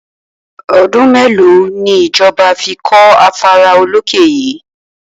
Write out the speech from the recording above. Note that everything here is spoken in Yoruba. O̩dún mélòó ni ìjo̩ba̩ fi kó̩ afárá olókè yìí?